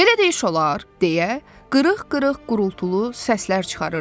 Belə də iş olar, deyə qırıq-qırıq gurultulu səslər çıxarırdı.